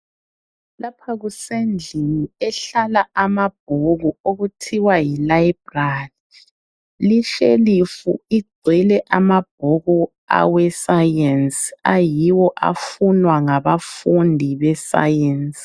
Lapha kusendlini ehlala amabhuku okuthiwa yilibrary. Lishelifu igcwele amabhuku aweScience ayiwo afunwa ngabafundi beScience.